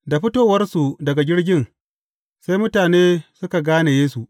Da fitowarsu daga jirgin, sai mutane suka gane Yesu.